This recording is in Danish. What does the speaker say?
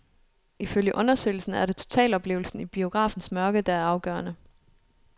Ifølge undersøgelsen er det totaloplevelen i biografens mørke, der er afgørende.